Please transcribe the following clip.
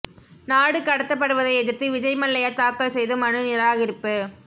நாடு கடத்தப்படுவதை எதிர்த்து விஜய் மல்லையா தாக்கல் செய்த மனு நிராகரிப்பு